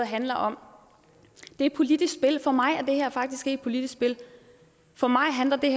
handle om et politisk spil men for mig er det her faktisk ikke et politisk spil for mig handler det